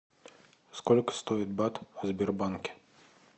сколько стоит бат в сбербанке